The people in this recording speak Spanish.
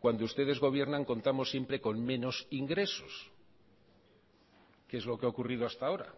cuando ustedes gobiernan contamos siempre con menos ingresos que es lo que ha ocurrido hasta ahora